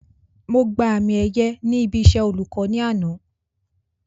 Mo gba àmì ẹ̀yẹ ní ibi iṣẹ́ olùkọ́ ní àná